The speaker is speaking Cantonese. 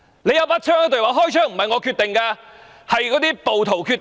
警員持槍，又說開槍不是他決定，是暴徒決定。